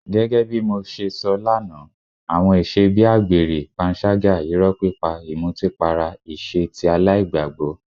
Gẹ́gẹ́ bí mo ṣe sọ lánàá, àwọn ìṣe bí àgbèrè, panṣágà, irọ́ pípa, ìmutípara ìṣe tí aláìgbàgbọ́.